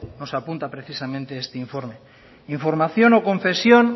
nos apunta precisamente este informe información o confesión